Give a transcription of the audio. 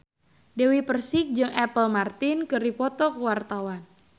Dewi Persik jeung Apple Martin keur dipoto ku wartawan